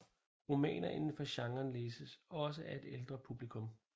Romaner indenfor genren læses også af et ældre publikum